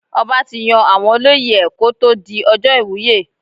Ọba tí yan àwọn olóyè ẹ̀ kó tó di ọjọ́ ìwúyè.